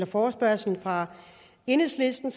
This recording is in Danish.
forespørgslen fra enhedslisten